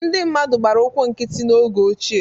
Ndị mmadụ gbara ụkwụ nkịtị n’oge ochie.